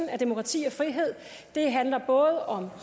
af demokrati og frihed handler både om